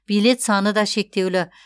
билет саны да шектеулі